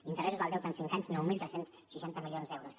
interessos del deute en cinc anys nou mil tres cents i seixanta milions d’euros